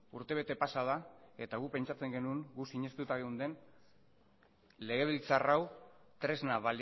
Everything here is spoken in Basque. urtebete pasa da eta gu pentsatzen genuen gu sinestuta geunden legebiltzar hau tresna